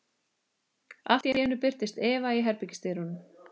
Allt í einu birtist Eva í herbergisdyrunum.